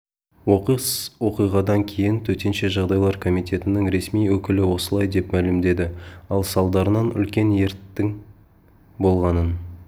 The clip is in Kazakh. оқыс оқиғадан кейін төтенше жағдайлар комитетінің ресми өкілі осылай деп мәлімдеді ал салдарынан үлкен өрттің болғанын